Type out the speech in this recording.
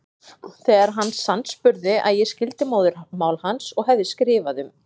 Þegar hann sannspurði að ég skildi móðurmál hans og hefði skrifað um